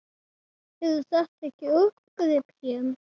Eru þetta ekki uppgrip hér?